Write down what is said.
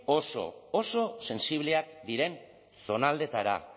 oso oso sentsibleak diren zonaldeetara